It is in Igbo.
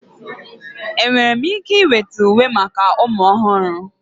Enwere m ike iweta uwe maka ụmụ ọhụrụ?